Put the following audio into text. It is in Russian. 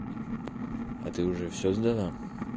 а ты уже все сдала